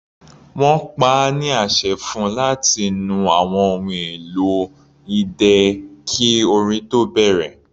Wọ́n pa á ní àṣẹ fún-un láti nu àwọn ohun èlò idẹ kí orin tó bẹ̀rẹ̀.